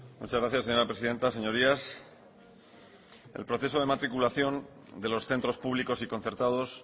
muchas gracias señora presidenta señorías el proceso de matriculación de los centros públicos y concertados